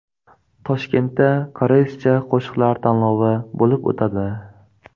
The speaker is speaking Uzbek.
Toshkentda koreyscha qo‘shiqlar tanlovi bo‘lib o‘tadi.